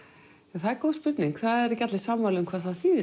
það er góð spurning það eru ekki allir sammála um hvað það þýðir